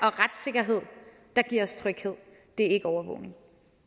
og retssikkerhed der giver os tryghed det er ikke overvågning